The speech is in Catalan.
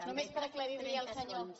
només per aclarir li al senyor homs